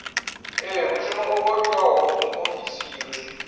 ea mushumo wo fhiwaho muofisiri